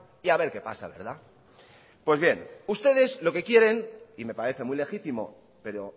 y a ver qué pasa verdad pues bien ustedes lo que quieren y me parece muy legítimo pero